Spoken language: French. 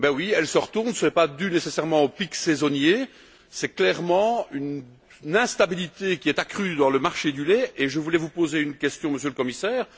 Elle se retourne et ce n'est pas dû nécessairement aux pics saisonniers, c'est clairement une instabilité qui est accrue dans le marché du lait. Je voulais vous poser une question, Monsieur le Commissaire.